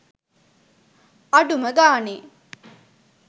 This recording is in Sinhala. අඩුම ගානේ